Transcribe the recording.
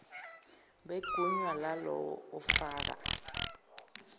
begunya lalowo ofaka